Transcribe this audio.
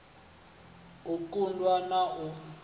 u ṱun ḓwa na u